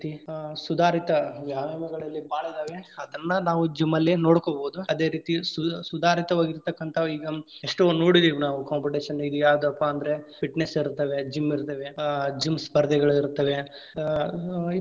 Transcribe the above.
ಆ ಸುಧಾರಿತ ವ್ಯಾಯಾಮಗಳಲ್ಲಿ ಭಾಳ ಅದಾವ ಅದನ್ನ ನಾವ್‌ gym ಅಲ್ಲಿ ನೋಡ್ಕೊಬಹುದು. ಅದೇ ರೀತಿ ಸು~ ಸುಧಾರಿತವಾಗಿರತಕ್ಕಂತಾವು ಈಗಾ ಎಷ್ಟೋ ನೋಡಿದೇವ ನಾವು competition ಇದ್ ಯಾವದಪ್ಪಾ ಅಂದ್ರೆ fitness ಇರುತ್ತವೆ. Gym ಇರ್ತಾವೆ, ಆ gym ಸ್ಪರ್ಧೆಗಳಿರ್ತಾವೆ ಆ.